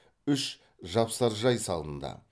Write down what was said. үш жапсаржай салынды